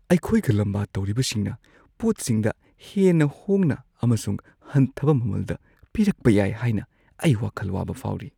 ꯑꯩꯈꯣꯏꯒ ꯂꯝꯕꯥ ꯇꯧꯔꯤꯕꯁꯤꯡꯅ ꯄꯣꯠꯁꯤꯡꯗ ꯍꯦꯟꯅ ꯍꯣꯡꯅ ꯑꯃꯁꯨꯡ ꯍꯟꯊꯕ ꯃꯃꯜꯗ ꯄꯤꯔꯛꯄ ꯌꯥꯏ ꯍꯥꯏꯅ ꯑꯩ ꯋꯥꯈꯜ ꯋꯥꯕ ꯐꯥꯎꯔꯤ ꯫